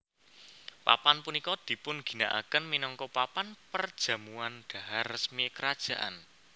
Papan punika dipun ginakaken minangka papan perjamuan dhahar resmi kerajaan